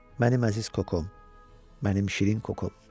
Mənim əziz Kokom, mənim şirin Kokom.